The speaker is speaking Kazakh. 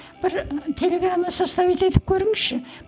бір телеграмма составить етіп көріңізші